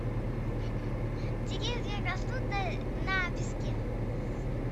деревья растут на песке